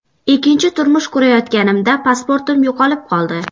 Ikkinchi turmush qurayotganimda pasportim yo‘qolib qoldi.